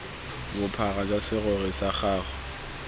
bophara jwa serori sa gago